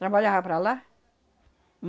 Trabalhava para lá.